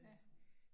Ja